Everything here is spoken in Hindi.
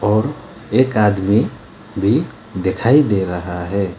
और एक आदमी भी दिखाई दे रहा है।